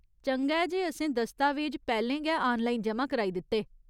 चंगा ऐ जे असें दस्तावेज पैह्‌‌‌लें गै आनलाइन जमा कराई दित्ते।